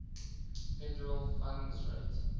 federal funds rate